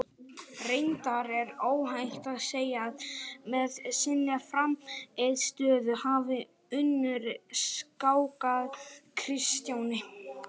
Reyndar er óhætt að segja að með sinni frammistöðu hafi Unnur skákað Kristjáni.